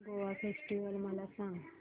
Goa festival मला सांग